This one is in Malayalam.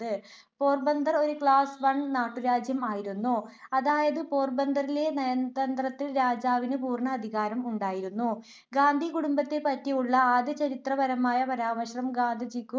പോർബന്ദർ ഒരു class one നാട്ടുരാജ്യം ആയിരുന്നു. അതായത്, പോർബന്തറിലെ നയതന്ത്രത്തിൽ രാജാവിനു പൂർണ അധികാരം ഉണ്ടായിരുന്നു. ഗാന്ധി കുടുംബത്തെ പറ്റി ഉള്ള ആദ്യ ചരിത്രപരമായ പരാമർശം ഗാന്ധിജിക്കു